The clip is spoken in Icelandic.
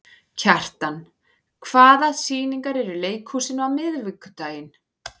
Kjartan, hvaða sýningar eru í leikhúsinu á miðvikudaginn?